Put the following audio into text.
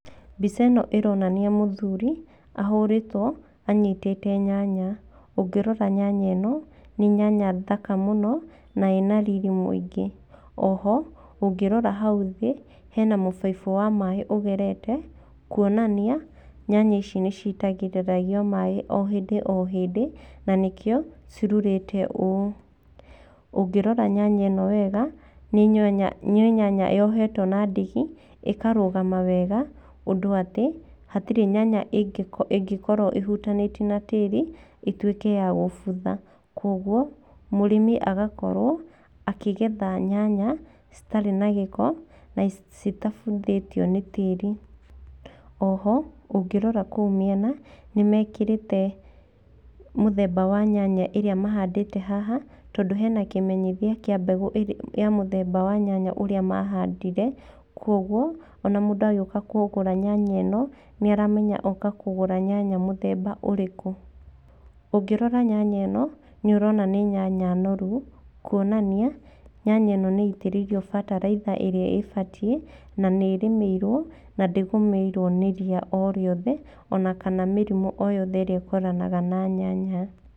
Mbica ĩno ironania mũthuri, ahũrĩtwo, anyitĩte nyanya. Ũngĩrora nyanya ĩno, nĩ nyanya thaka mũno, na ĩna riri mũingĩ. Oho, ũngĩrora hau thĩ, hena mũbaibũ wa maaĩ ũgerete, kuonania nyanya ici nĩ citagĩrĩrio maaĩ o hĩndĩ o hĩndĩ, na nĩkĩo, cirurĩte ũũ. Ũngĩrora nyanya ĩno wega nĩ nyanya yohetwo na ndigi, ĩkarũgama wega hatirĩ nyanya ĩngĩkorwo ĩhutanĩtie na tĩĩri ĩtuĩke ya kũbutha. Koguo mũrĩmi agakorwo akĩgetha nyanya citarĩ na gĩko na citabuthĩtio nĩ tĩĩri. Oho ũngĩrora kũu mĩena nĩ mekĩrĩte mũthemba wa nyanya ĩrĩa mahandĩte haha tondũ hena kĩmenyithia kĩa nyanya ĩrĩa mahandire. Kwoguo ona mũndũ agĩũka kũgũra nyanya ĩno, nĩ aramenya oka kũgũra nyanya mũthemba ũrĩkũ. Ũngĩrora nyanya ĩno nĩ ũrona nĩ nyanya noru, kwonania nyanya ĩno nĩ ĩitĩrĩirio bataraitha ĩrĩa ĩbatiĩ na nĩ ĩrĩmĩirwo na ndĩgũmĩirwo nĩ ria o rĩothe, ona kana mĩrimũ o yothe ĩrĩa ĩtwaranaga na nyanya.